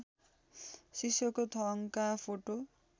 शिष्यको थङका फोटो